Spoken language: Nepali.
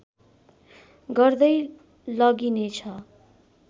गर्दै लगिनेछ